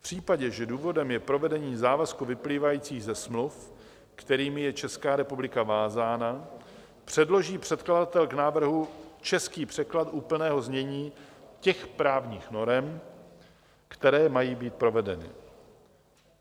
V případě, že důvodem je provedení závazků vyplývajících ze smluv, kterými je Česká republika vázána, předloží předkladatel k návrhu český překlad úplného znění těch právních norem, které mají být provedeny."